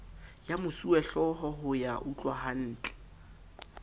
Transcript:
ya mosuwehlooho ho ya utlwahantle